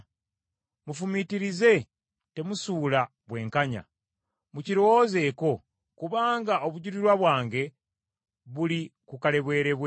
Mufumiitirize, temusuula bwenkanya; Mukirowoozeeko, kubanga obujulirwa bwange buli ku kalebwerebwe.